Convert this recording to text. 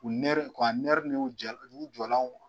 U nɛri ka nɛri n'u jɔlaw kuwa